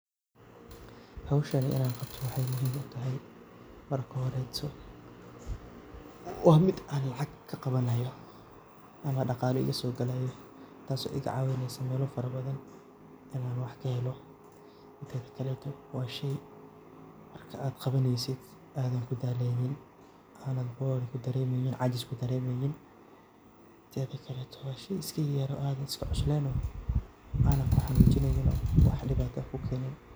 Howshani inan qabto waxay muhiim utahay marka horeto waa mid an lacag ka qabanayo ama dhaqalo igaso gelayo taaso iga caawineyso melo fara badan inan wax kahelo, mida kaleto waa shey marka ad qabaneysid aadan kudaaleynin aadan bored kudareemeynin yacni cajis kadareemeynin, waa shey iska yar oo an iska cusleyn anan ku xanuunjineynin oo wax dhibata kukeeneynin